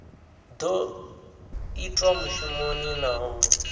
do itwa mushumoni na u